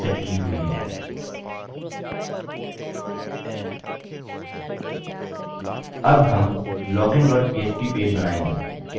अब हम login dot php page बनायेंगे